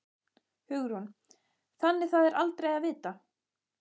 Hugrún: Þannig það er aldrei að vita?